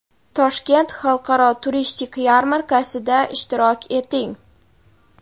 Toshkent xalqaro turistik yarmarkasida ishtirok eting!.